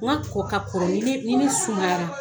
Nka kunko ka kɔrɔ ne sumayara